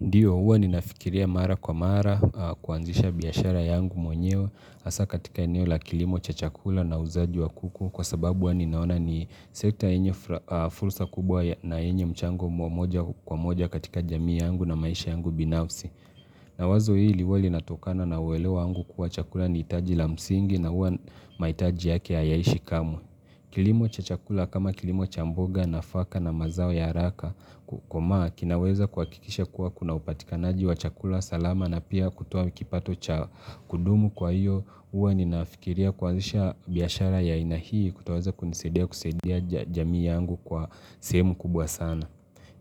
Ndiyo huwa ninafikiria mara kwa mara, kuanzisha biashara yangu mwenyeo, asa katika eneo la kilimo cha chakula na uuzaji wa kuku, kwa sababu huwa ninaona ni sekta enye fursa kubwa na enye mchango mwa moja kwa moja katika jamii yangu na maisha yangu binafsi. Na wazo hili huwa linatokana na uwelewa yangu kuwa chakula ni itaji la msingi na huwa maitaji yake hayaishi kamwe. Kilimo cha chakula kama kilimo cha mboga nafaka na mazao ya haraka komaa kinaweza kuhakikisha kuwa kuna upatikanaji wa chakula salama na pia kutoa kipato cha kudumu kwa iyo uwa ninafikiria kuanzisha biashara ya aina hii kutawaza kunisaidia kusaidia jamii yangu kwa sehemu kubwa sana.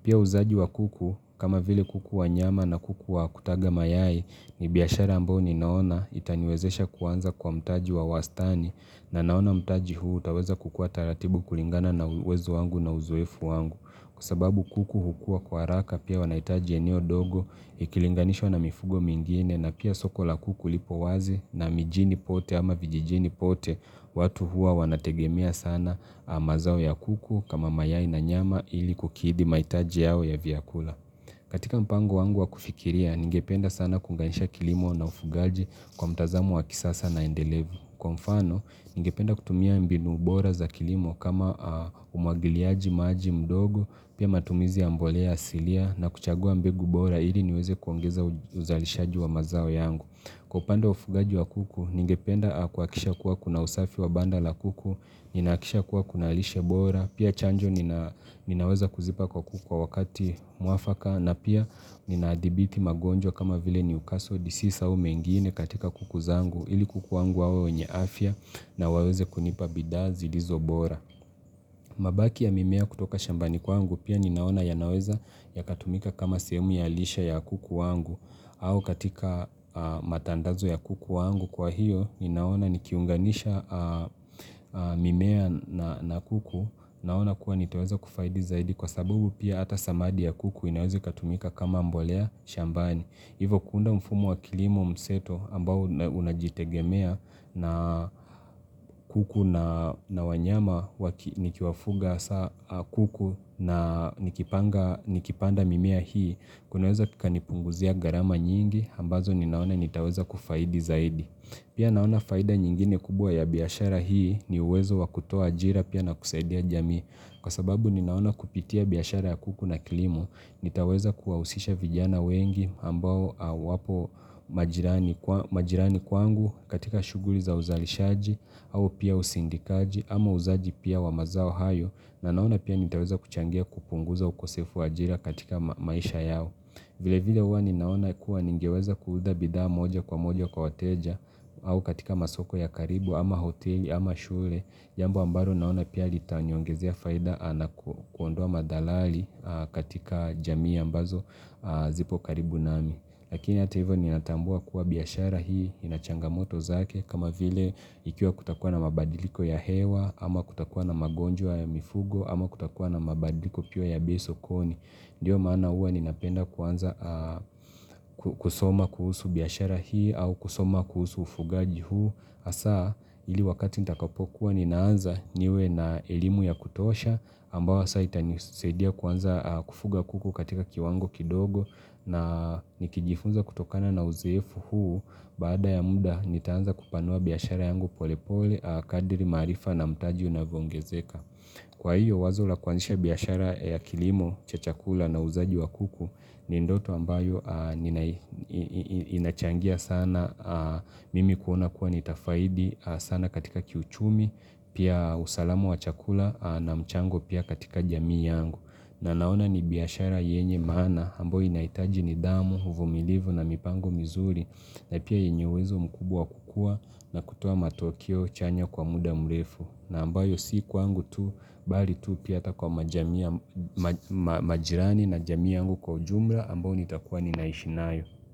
Pia uuzaji wa kuku kama vile kuku wa nyama na kuku wa kutaga mayai ni biashara ambao ninaona itaniwezesha kuanza kwa mtaji wa wastani na naona mtaji huu utaweza kukua taratibu kulingana na uwezo wangu na uzoefu wangu kwa sababu kuku hukua kwa haraka pia wanaitaji eneo dogo ikilinganishwa na mifugo mingine na pia soko la kuku lipo wazi na mijini pote ama vijijini pote watu hua wanategemea sana mazao ya kuku kama mayai na nyama ili kukidi maitaji yao ya viakula. Katika mpango wangu wa kufikiria, ningependa sana kuunganisha kilimo na ufugaji kwa mtazamo wa kisasa na endelevu. Kwa mfano, ningependa kutumia mbinu bora za kilimo kama umwagiliaji maji, mdogo, pia matumizi ya mbolea asilia na kuchagua mbegu bora ili niweze kuongeza uzalishaji wa mazao yangu. Kwa upande wa ufugaji wa kuku, ningependa kuhakikisha kuwa kuna usafi wa banda la kuku, ninahakikisha kuwa kuna lishe bora, pia chanjo nina ninaweza kuzipa kwa kuku kwa wakati muafaka na pia ninaadhibiti magonjwa kama vile newcastle disease au mengine katika kuku zangu ili kuku wangu wawe wenye afya na waweze kunipa bidhaa zilizo bora mabaki ya mimea kutoka shambani kwangu pia ninaona yanaweza yakatumika kama sehemu ya lishe ya kuku wangu au katika matandazo ya kuku wangu kwa hiyo ninaona nikiunganisha mimea na kuku Naona kuwa nitaweza kufaidi zaidi kwa sababu pia ata samadi ya kuku inaweza ikatumika kama mbolea shambani Hivo kuunda mfumu wa kilimo mseto ambao unajitegemea na kuku na wanyama waki nikiwafuga kuku na nikipanda mimea hii kunaweza kukanipunguzia gharama nyingi ambazo ninaona nitaweza kufaidi zaidi Pia naona faida nyingine kubwa ya biashara hii ni uwezo wa kutoa ajira pia na kusaidia jamii Kwa sababu ninaona kupitia biashara ya kuku na kilimo, nitaweza kuwahusisha vijana wengi ambao wapo majirani majirani kwangu katika shughli za uzalishaji au pia usindikaji ama uuzaji pia wa mazao hayo na naona pia nitaweza kuchangia kupunguza ukosefu ajira katika maisha yao. Vile vile uwa ninaona kuwa ningeweza kuuza bidhaa moja kwa moja kwa wateja au katika masoko ya karibu ama hoteli ama shule jambo ambalo naona pia litaniongezea faida na kuondoa madhalali katika jamii ambazo zipo karibu nami Lakini ata hivyo ninatambua kuwa biashara hii ina changamoto zake kama vile ikiwa kutakuwa na mabadiliko ya hewa ama kutakuwa na magonjwa ya mifugo ama kutakuwa na mabadiliko piwa ya bei sokoni Ndiyo maana uwa ninapenda kuanza kusoma kuhusu biashara hii au kusoma kuhusu ufugaji huu. Asa ili wakati nitakapokuwa ninaanza niwe na elimu ya kutosha ambawa sa itanisaidia kuanza kufuga kuku katika kiwango kidogo na nikijifunza kutokana na uzoefu huu. Baada ya muda nitaanza kupanua biashara yangu pole pole kadiri maarifa na mtaji unavyoongezeka. Kwa hiyo wazo la kwanzisha biashara ya kilimo cha chakula na uuzaji wa kuku ni ndoto ambayo inachangia sana. Mimi kuona kuwa nitafaidi sana katika kiuchumi, pia usalamu wa chakula na mchango pia katika jamii yangu. Na naona ni biashara yenye maana ambayo inaitaji nidhamu, uvumilivu na mipango mizuri na pia yenye uwezo mkubwa wa kukua na kutoa matokeo chanya kwa muda mrefu na ambayo siku kwangu tu, bali tu pia ata kwa majirani na jamii yangu kwa ujumla ambao nitakuwa ninaishi nayo.